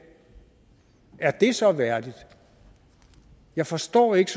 er det så værdigt jeg forstår ikke